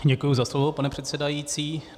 Děkuji za slovo, pane předsedající.